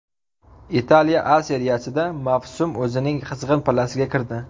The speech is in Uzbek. Italiya A seriyasida mavsum o‘zining qizg‘in pallasiga kirdi.